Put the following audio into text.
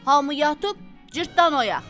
Hamı yatıb, Cırtdan oyaq.